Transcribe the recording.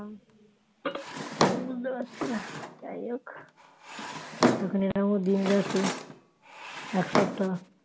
বুঝতে পারছি না যাই হোক তখন এরকমও দিন গেছে এক সপ্তাহ